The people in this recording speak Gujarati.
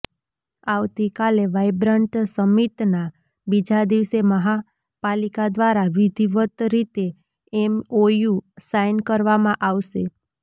આવતીકાલે વાઈબ્રન્ટ સમિટના બીજા દિવસે મહાપાલિકા દ્વારા વિધિવત રીતે એમઓયુ સાઈન કરવામાં આવશે